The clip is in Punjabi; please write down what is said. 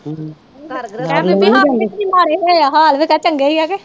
ਹੋਇਆ ਹਾਲ ਫੇਰ ਤਾ ਚੰਗਾ ਹੀ ਹੈ ਕੇ